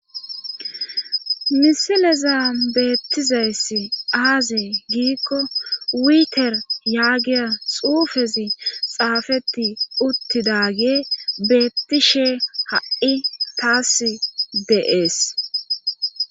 Misileza beettizayssi aazi giikko wiiter yaagiya xuufezi xaafeti uttidage beettishe ha7i taas deees.